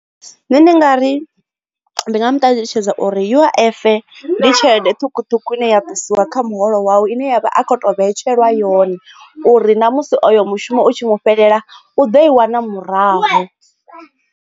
Nṋe ndi nga ri ndi nga mu ṱalutshedza uri U_I_F ndi tshelede ṱhukhuṱhukhu ine ya ṱusiwa kha muholo wawe ine yavha a kho to vhetshelwa yone uri ṋamusi oyo mushumo u tshi mu fhelela u ḓo i wana murahu.